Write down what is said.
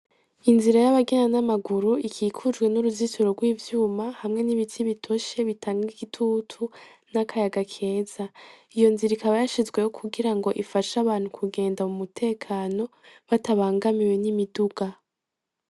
Inzira y'abagenda n'amaguru ikikujwe n'uruzitiro rw'ivyuma hamwe n'ibiti bitoshe bitanga igitutu n'akayaga keza iyo nzira ikaba yashizweho kugira ngo ifashe abantu kugenda mu mutekano batabangamiwe n'imiduga.